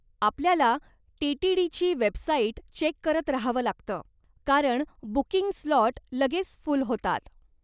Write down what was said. आपल्याला टी.टी.डी.ची website check करत राहावं लागतं, कारण बुकिंग स्लॉट लगेच फुल होतात.